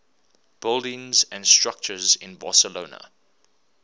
buildings and structures in barcelona